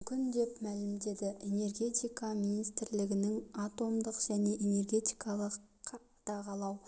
мүмкін деп мәлімдеді энергетика министрлігінің атомдық және энергетикалық қадағалау